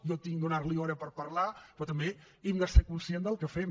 jo he de donar li hora per parlar però també hem de ser conscients del que fem